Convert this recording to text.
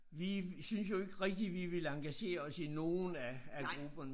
Vi syntes jo ikke rigtigt vi ville engagere os i nogen af af grupperne